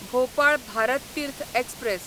Bhopal Bharat Tirth express